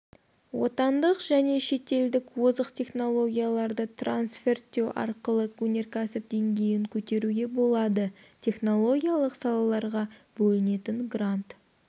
отандық және шетелдік озық технологияларды трансферттеу арқылы өнеркәсіп деңгейін көтеруге болады технологиялық салаларға бөлінетін грант